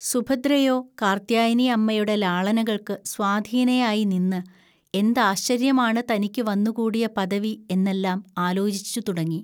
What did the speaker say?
സുഭദ്രയോ, കാർത്ത്യാനിഅമ്മയുടെ ലാളനകൾക്ക് സ്വാധീനയായി നിന്ന്, എന്താശ്ചര്യമാണ് തനിക്കു വന്നുകൂടിയ പദവി എന്നെല്ലാം ആലോചിച്ചുതുടങ്ങി